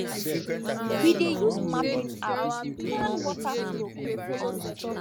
we dey use mapping app plan water flow